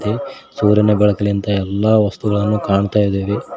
ಇಲ್ಲಿ ಸೂರ್ಯನ ಬೆಳಕಿಲಿಂದ ಎಲ್ಲಾ ವಸ್ತುಗಳನ್ನು ಕಾಣ್ತಾಯಿದೀವಿ.